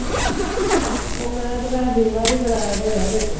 ਉਹ ਮੈਂ ਤੇ ਭੈਣ ਦੀ ਮੈਂ ਵੀ ਕਰਵਾਇਆ ਯਾਰ ਇੱਕ।